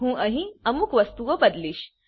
હું અહી અમુક વસ્તુઓ બદલીશ